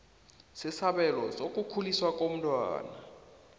sesabelo sokukhuliswa komntwana